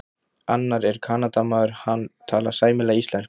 Annar er Kanadamaður, hann talar sæmilega íslensku.